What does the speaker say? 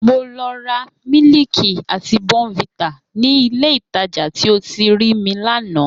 Mo lọ ra mílíìkì àti bournvita ní Ilé-ìtajà tí o ti rí mi lánàá